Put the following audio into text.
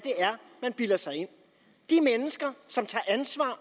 man bilder sig ind de mennesker som tager ansvar